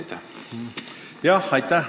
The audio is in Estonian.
Aitäh!